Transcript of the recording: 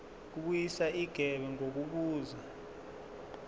kubuyiswa igebe ngokubuza